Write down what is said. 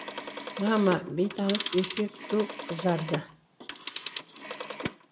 мама бейтаныс еркек ду қызарды